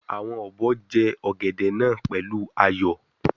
Awon obo je ogede naa pelu ayo